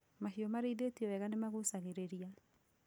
Mahiũ marĩithio weega nĩ magucagĩrĩria